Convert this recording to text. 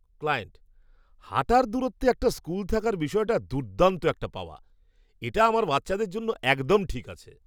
Client, "হাঁটার দূরত্বে একটা স্কুল থাকার বিষয়টা দুর্দান্ত একটা পাওয়া। এটা আমার বাচ্চাদের জন্য একদম ঠিক আছে।"